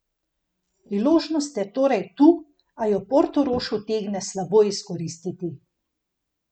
Priložnost je torej tu, a jo Portorož utegne slabo izkoristiti.